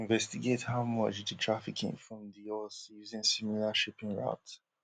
to investigate how much di trafficking from di us using similar shipping routes